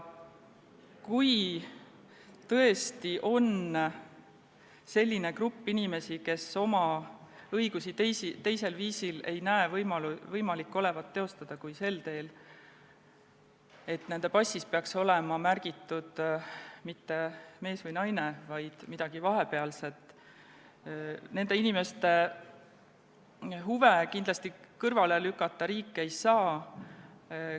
Kui tõesti on olemas selline grupp inimesi, kes ei näe, et nende õigusi oleks võimalik teostada teisel viisil kui sel teel, et nende passis oleks märgitud mitte "mees" või "naine", vaid midagi vahepealset, siis riik nende inimeste huve kindlasti kõrvale lükata ei saa.